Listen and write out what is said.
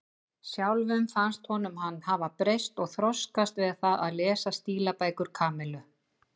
Sjálfum fannst honum hann hafa breyst og þroskast við það að lesa stílabækur Kamillu.